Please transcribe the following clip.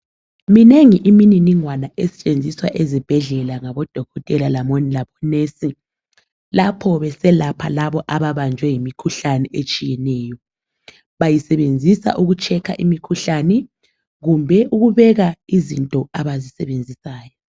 Minengi imininingwana esetshenziswa ezibhedlela ngabodokotela labonesi lapho beselapha labo ababanjwe yimikhuhlane etshiyeneyo. Bayisebenzisa ukuhlola imikhuhlane kumbe ukubeka izinto abazisebenzisayo.